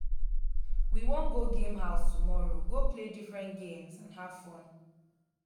we wan go game house tomorrow go play different games and have fun